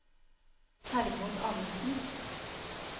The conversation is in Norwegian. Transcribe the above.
Hermod Amundsen